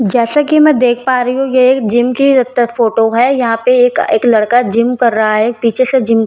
जैसे कि मैं देख पा रही हूं यह एक जिम की जब तक फोटो है यहां पे एक एक लड़का जिम कर रहा है पीछे से जिम ट्राय कर रहा --